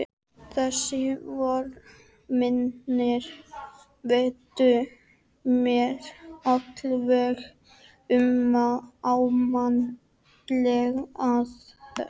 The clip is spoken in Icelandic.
Þessir fréttaritarar mínir veittu mér alveg ómetanlega aðstoð.